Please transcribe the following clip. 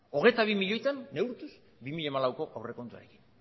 hogeita bi milioitan neurtuz bi mila hamalauko aurrekontuarekin